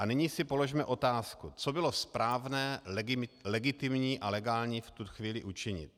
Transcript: A nyní si položme otázku, co bylo správné, legitimní a legální v tu chvíli učinit.